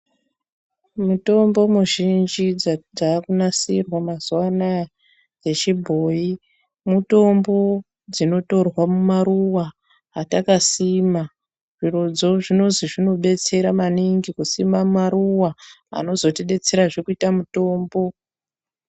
Mutombo mizhinji dza dzakunasirwa mazuwa anaya yechibhoyi mitombo dzinotorwa mumaruwa atakasima zvirodzo zvinozi zvinodetsera maningi kusima maruwa anozotidetserazve kuita mutombo.